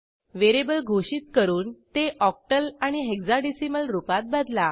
variable घोषित करून ते ऑक्टल आणि हेक्साडेसिमल रुपात बदला